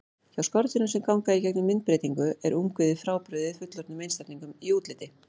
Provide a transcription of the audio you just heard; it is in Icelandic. Hjá skordýrum sem ganga í gegnum myndbreytingu er ungviðið frábrugðið fullorðnum einstaklingum í útliti.